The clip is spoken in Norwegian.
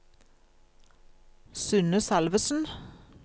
Synne Salvesen